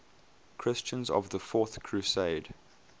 christians of the fourth crusade